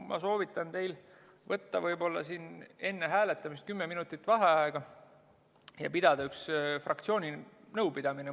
Ma soovitan teil võtta siin enne hääletamist võib-olla kümme minutit vaheaega ja pidada üks fraktsiooni nõupidamine.